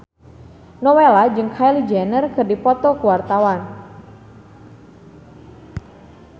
Nowela jeung Kylie Jenner keur dipoto ku wartawan